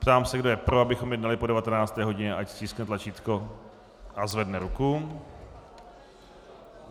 Ptám se, kdo je pro, abychom jednali po 19. hodině, ať stiskne tlačítko a zvedne ruku.